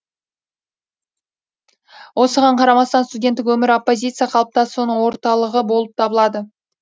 осыған қарамастан студенттік өмір оппозиция қалыптасуының орталығы болып табылады